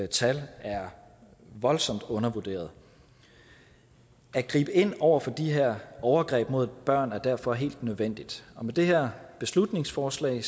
tal er voldsomt undervurderede at gribe ind over for de her overgreb mod børn er derfor helt nødvendigt og med det her beslutningsforslag